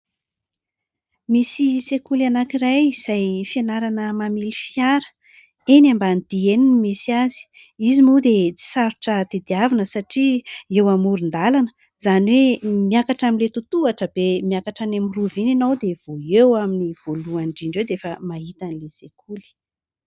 Misy sekoly anankiray izay fianarana mamily fiara, eny Ambanidia eny no misy azy. Izy moa dia tsy sarotra tadiavina, satria eo amoron-dalana, izany hoe : miakatra amin'ilay tohatohatra be miakatra any amin'ny Rova iny ianao, dia vao eo amin'ny voalohany indrindra eo dia efa mahita an'ilay sekoly.